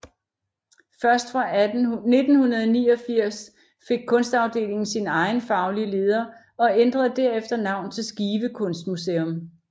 Først fra 1989 fik Kunstafdelingen sin egen faglige leder og ændrede derefter navn til Skive Kunstmuseum